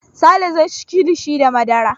Sale zai ci kilishi da madara.